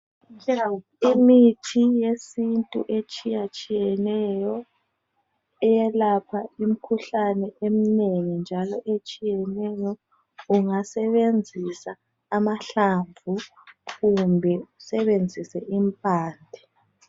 Imithi yesintu etshiyetshiyeneyo, iyelapha imikhuhlane eminengi njalo etshiyeneyo, ungasebenzisa amahlamvu kumbe usebenzise impande.